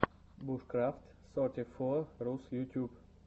бушкрафт сорти фо рус ютьюб